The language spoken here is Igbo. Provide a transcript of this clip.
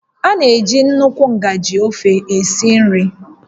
A na-eji nnukwu ngaji ofe esi nri